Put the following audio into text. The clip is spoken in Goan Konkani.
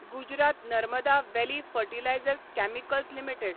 Gujarat Narmada valley fertilizers chemicals limited